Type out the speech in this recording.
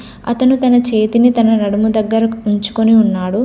అతను తన చేతిని తన నడుము దగ్గరకు ఉంచుకొని ఉన్నాడు.